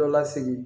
Dɔ lasigi